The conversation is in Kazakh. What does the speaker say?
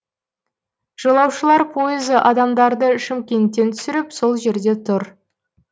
жолаушылар пойызы адамдарды шымкенттен түсіріп сол жерде тұр